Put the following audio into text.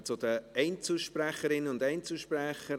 Wir kommen zu den Einzelsprecherinnen und Einzelsprechern.